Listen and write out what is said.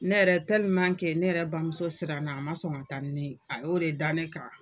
Ne yɛrɛ ne yɛrɛ bamuso siran na a ma sɔn ka taa ne yen, a y'o de dan ne kan.